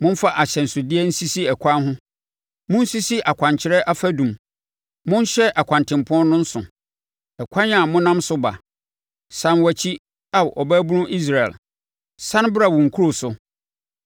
“Momfa ahyɛnsodeɛ nsisi ɛkwan ho; monsisi akwankyerɛ afadum. Monhyɛ ɛkwantempɔn no nso ɛkwan a monam so ba. Sane wakyi, Ao ɔbabunu Israel, sane bra wo nkuro so.